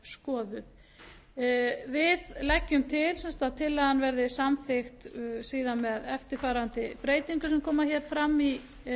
skoðuð við leggjum til sem sagt að tillagan verði samþykkt síðan með eftirfarandi breytingum sem koma hér fram í